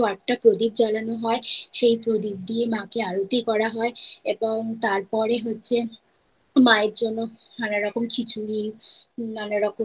একশো আটটা প্রদীপ জ্বালানো হয় সেই প্রদীপ দিয়ে মা কে আরতি করা হয় এবং তারপরে হচ্ছে মায়ের জন্য নানা রকম খিচুড়ি নানা রকমের